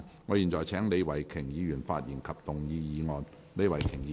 我現在請李慧琼議員發言及動議議案。